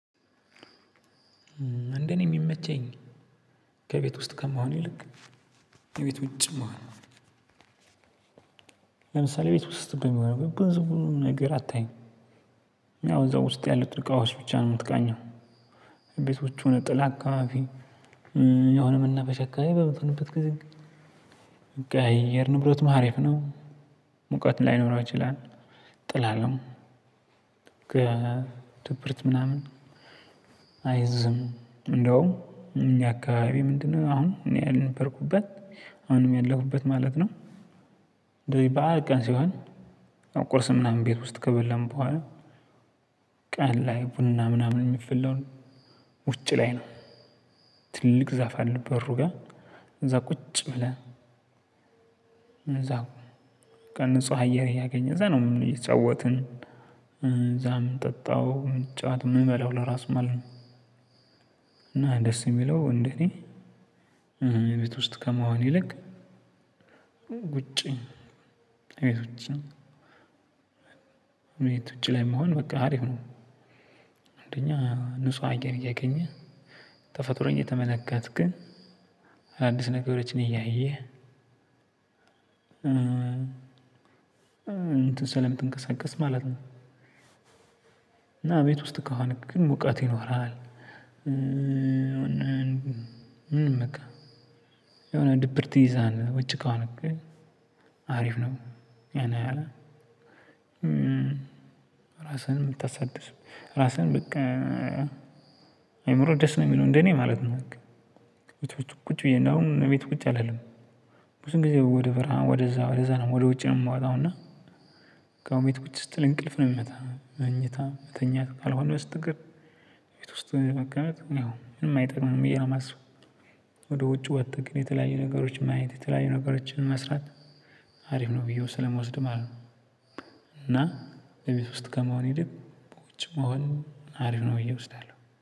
ምንድነው? የሚመቸኝ ከቤት ውስጥ ከመሆን ይልቅ ከቤት ውጭ መሆን። ለምሳሌ ቤት ውስጥ የሚሆነው ብዙ ነገር አታይም። እዛው ውስጥ ያሉትን እቃዎች ብቻ ነው የምትቃኘው። ቤቶቹን ጥላ አካባቢ የሆነ መናፈሻ አከባቢ በምትሆንበት ጊዜ። በቃ የአየር ንብረትም አሃሪፍ ነው። ሙቀት ላይኖረው ይችላል ጥላ ነው። ከድብርት ምናምን አይዝም እንደውም እኛ አካባቢ ምንድነው አሁን እኔ ያልነበርኩበት አሁንም ያለኩበት ማለት ነው። እንደዚህ በዓል ቀን ሲሆን ቁርስ ምናምን ቤት ውስጥ ከበላን በኋላ። ቀን ላይ ቡና ምናምን የሚፈላውን ውጪ ላይ ነው። ትልቅ ዛፍ አለ በሩ ጋር እዛ ቁጭ ብለን። እዛው በቃ ንጹህ አየር እያገኘን እዛው ነው የምንውለው እየተጫወትን እዛም ምንጠጣው ምንጫወት የምንበላው ለራሱ ማለት ነው። እና ደስ የሚለው እንዴ እኔ ቤት ውስጥ ከመሆን ይልቅ ውጪ ከቤት ውጪም እቤት ውጪ ላይ መሆን በቃ አሪፍ ነው። አንደኛ ንጹህ አገር እያገኘ ተፈጥሮኝ እየተመለከትክ አዳዲስ ነገሮችን እያየህ። እንትን ሰለምትንቀሳቀስ ማለት ነው። እና ቤት ውስጥ ከሆንክ ግን ሙቀት ይኖርሃል። ምንም በቃ የሆነ ድብርት ይይዝሃል ነው ውጭ ከሆንክ። አሪፍ ነው ያነው ያህል ራስህን የምታሳድስ ራስህን በቃ አይምሮ ደስ ነው የሚለው እንደኔ ማለት ነው። ቤት ውስጥ ቁጭ ብዬ ነው እቤት ቁጭ አልልም። ብዙን ጊዜ ወደ በረሃ ወደዛ ወደዛ ነው ወደ ውጭ ነው የምወጣው እና። ከአሁን ቤት ቁጭ ስትል እንቅልፍ ነው የሚመጣው መኝታ መተኛት ካልሆነ በስተቀር ቤት ውስጥ መቅረት ያው ምንም አይጠቅምም ብዬ ነው ማስበው። ወደ ውጭ ወጥተህ ግን የተለያዩ ነገሮችን ማየት የተለያዩ ነገሮችን መስራት አሪፍ ነው ብዬው ስለምወስድ ማለት ነው። እና በቤት ውስጥ ከመሆን ይልቅ ውጭ መሆን አሪፍ ነው ብዬ ወስዳለሁ